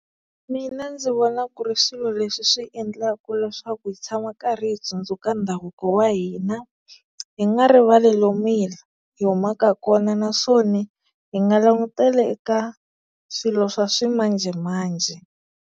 Mina ndzi vona ku ri swilo leswi swi endlaka leswaku hi tshama karhi hi tsundzuka ndhavuko wa hina hi nga rivali lomu hi hi humaka kona naswona hi nga langutele eka swilo swa swi ximanjhemanjhe.